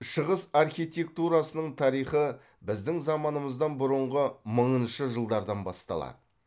шығыс архитектурасының тарихы біздің заманымыздан бұрынғы мыңыншы жылдардан басталады